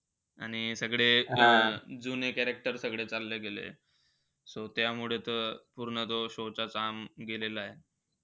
आणि सगळ अं जुने character सगळे चालले गेलेय. so त्यामुळे त पूर्ण तो show चा charm गेलेलाय.